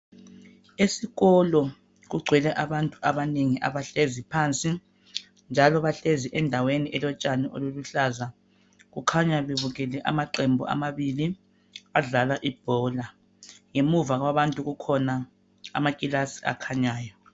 esikolo kugcwele abantu abanengi abahlezi phansi njalo bahlezi endaweni elotshani oluluhlaza kukhanya bebukele amaqembu amabili adlala ibhola ngemuva kwabantu kukhona amakilasi